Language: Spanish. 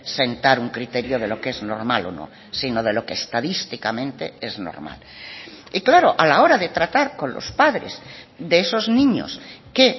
sentar un criterio de lo que es normal o no sino de lo que estadísticamente es normal y claro a la hora de tratar con los padres de esos niños que